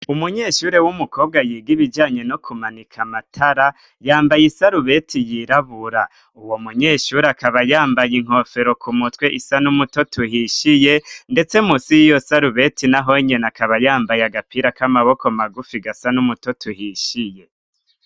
Umunyeshure w'umukobwa yiga ibijanye no kumanika amatara, yambaye isarubeti yirabura. Uwo munyeshure akaba yambaye inkofero ku mutwe isa n'umutoto uhishiye, ndetse munsi y'iyo sarubeti na honyene akaba yambaye agapira k'amaboko magufi gasa n'umutoto uhishiye.